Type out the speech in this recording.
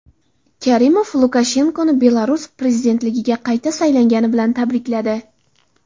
Karimov Lukashenkoni Belarus prezidentligiga qayta saylangani bilan tabrikladi.